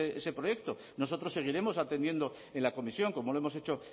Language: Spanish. ese proyecto nosotros seguiremos atendiendo en la comisión como lo hemos hecho